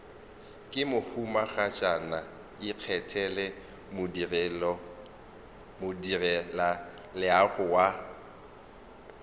ke mohumagatšana ikgethele modirelaleago wa